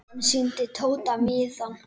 Hann sýndi Tóta miðann.